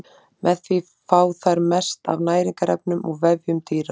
Með því fá þær mest af næringarefnum úr vefjum dýra.